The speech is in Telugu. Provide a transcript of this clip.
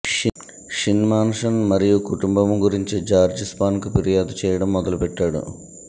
షిన్ మాన్సన్ మరియు కుటుంబం గురించి జార్జ్ స్పాన్ కు ఫిర్యాదు చేయటం మొదలుపెట్టాడు